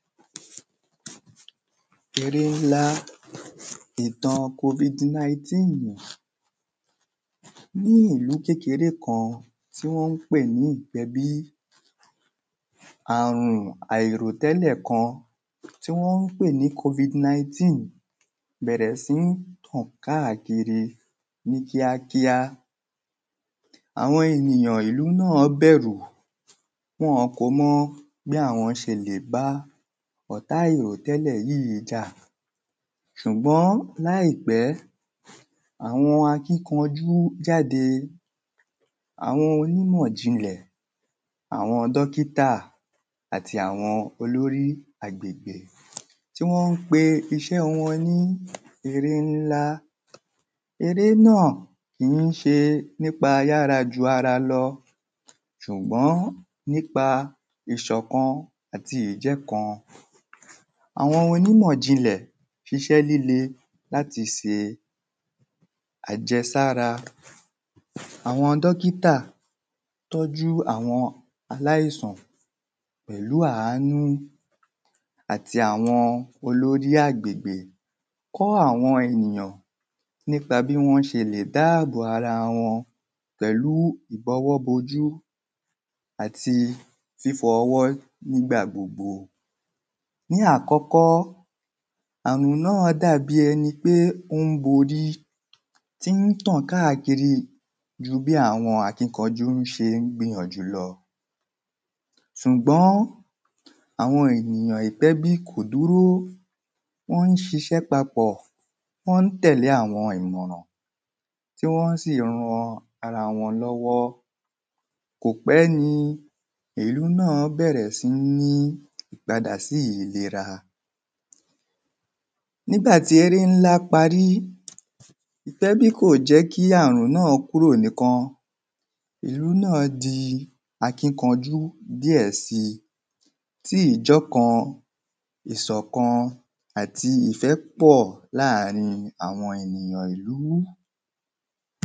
Eré ńlá Ìtàn covid nineteen Ní ìlú kékeré kan tí wọ́n ń pè ní ìpẹ́bí Ààrùn àìròtẹ́lẹ̀ kan tí wọ́n ń pè ni covid nineteen bẹ̀rẹ̀ sí ń tàn káàkiri ní kíákíá Àwọn ènìyàn ìlú náà bẹ̀rù Wọ́n o kò mọ̀ bí àwọn ṣe lè bá ọ̀tá àìròtẹ́lẹ̀ yìí jà Ṣùgbọ́n láìpẹ́ àwọn akíkanjú jáde Àwọn onímọ̀ jìnlẹ̀ àwọn dókítà àti àwọn olóri agbègbè Tí wọ́n ń pe iṣẹ́ wọn ní eré ńlá Eré náà kí ń ṣe nípa ayára ju ara lọ ṣùgbọ́n nípa ìṣọ̀kan àti ìjẹ́kan Àwọn onímọ̀jìnlẹ̀ ṣiṣẹ́ líle láti ṣe àjẹsára Àwọn dókítà tọ́jú àwọn aláìsàn pẹ̀lú àánú àti àwọn olórí agbègbè Kọ́ àwọn ènìyàn nípa bí wọ́n ṣe lè dá àbò bo ara pẹ̀lú idọwọ́bojú àti fífọ ọwọ́ nígbà gbogbo Ní àkọ́kọ́ ààrùn náà dàbí ẹni pé ó ń borí tí ń tàn káàkiri ju bí àwọn akínkajú ṣe ń gbìnyànjú lọ ṣùgbọ́n àwọn ènìyàn ìpẹ́bí kò dúró Wọ́n ń ṣiṣẹ́ papọ̀ Wọn ń tẹ̀lé àwọn ìmọ̀ràn tí wọ́n sì ń ran ara wọn lọ́wọ́ Kò pẹ́ ni ìlú náà bẹ̀rẹ̀ sí ní padà sí ìlera Nígbà tí eré ńlá parí ìpẹ́bí kò jẹ́ kí ààrùn náà kúrò nìkan Ìlú náà di akíkanjú díẹ̀ si tí ìjẹ́ ọkan ìṣọ̀kan àti ìfẹ́ pọ̀ láàrin àwọn ènìyàn ìlú